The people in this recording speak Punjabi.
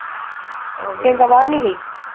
ਪ੍ਰਿਅੰਕਾ ਬਾਹਰ ਨਹੀਂ ਗਈ